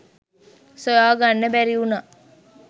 සොයා ගන්න බැරි වුණා.